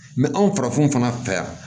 Mɛ anw farafinw fana fɛ yan